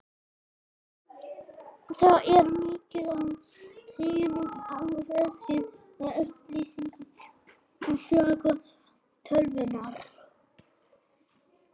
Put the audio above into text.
Þar er mikið af tengingum á vefsíður með upplýsingum um sögu tölvunnar.